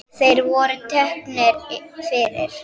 Þeir voru teknir fyrir.